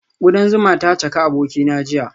Kudan zuma ta caka abokina jiya